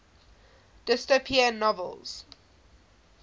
dystopian novels